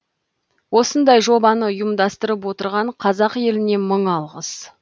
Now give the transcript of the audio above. осындай жобаны ұйымдастырып отырған қазақ еліне мың алғыс